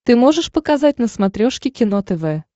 ты можешь показать на смотрешке кино тв